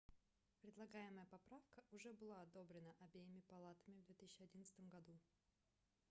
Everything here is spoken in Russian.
предлагаемая поправка уже была одобрена обеими палатами в 2011 году